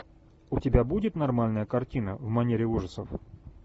у тебя будет нормальная картина в манере ужасов